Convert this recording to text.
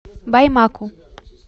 баймаку